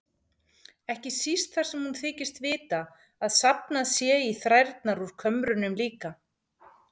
Ekki síst þar sem hún þykist vita að safnað sé í þrærnar úr kömrunum líka.